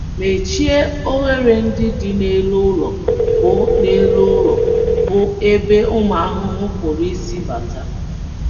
Mechie oghere ndị dị n’elu ụlọ bụ́ n’elu ụlọ bụ́ ebe ụmụ ahụhụ pụrụ isi bata.